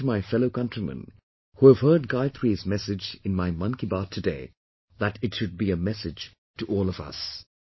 I would urge my fellow countrymen, who have heard Gayatri's message in my 'Mann Ki Baat' today, that it should be a message to all of us